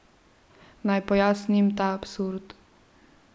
Naj pojasnim ta absurd.